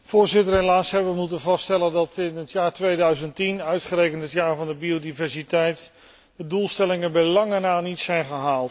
Helaas hebben wij moeten vaststellen dat in het jaar 2010, uitgerekend het jaar van de biodiversiteit, de doelstellingen bij lange na niet zijn gehaald.